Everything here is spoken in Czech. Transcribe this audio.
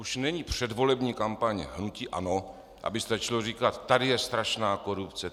Už není předvolební kampaň hnutí ANO, aby stačilo říkat: "Tady je strašná korupce.